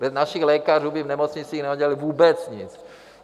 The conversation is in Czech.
Bez našich lékařů by v nemocnicích neudělali vůbec nic.